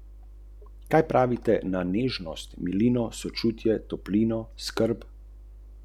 Po letih trpljenja je zavel nov veter, ki ga je spodbudila uvrstitev v finale slovenskega pokala in posledično uvrstitev v evropske pokale.